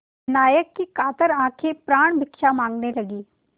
नायक की कातर आँखें प्राणभिक्षा माँगने लगीं